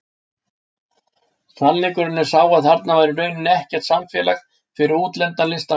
Sannleikurinn er sá að þarna var í rauninni ekkert samfélag fyrir útlendan listamann.